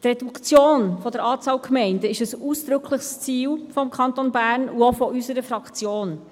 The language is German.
Die Reduktion der Anzahl Gemeinden ist ein ausdrückliches Ziel des Kantons Bern und auch seitens unserer Fraktion.